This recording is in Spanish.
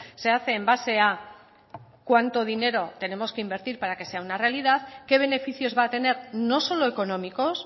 se hace en base a cuánto dinero tenemos que invertir para que sea una realidad qué beneficios va a tener no solo económicos